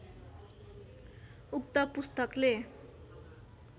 उक्त पुस्तकले